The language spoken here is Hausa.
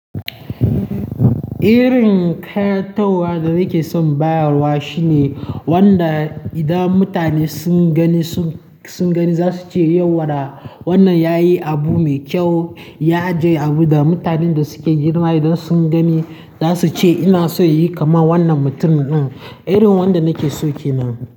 Irin ƙayatarwa da nake son bayarwa shine wanda idan mutane sun gani, sun gani za su ce yauwaɗa wannan yayi abu mai kyau, ya ajiye abu da mutanen da suke girma idan sun gani za su ce inaso inyi kaman wannan mutumin din. Irin wanda nake so ke nan.